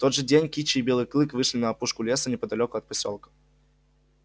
в тот же день кичи и белый клык вышли на опушку леса неподалёку от посёлка